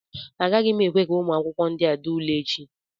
Agaghị m ekwe ka ụmụ akwụkwọ ndịa dee ule a echi